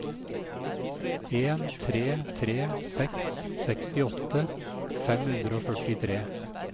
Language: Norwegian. en tre tre seks sekstiåtte fem hundre og førtitre